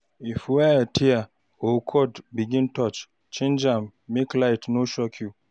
If wire tear or cord begin touch, change am make light no shock you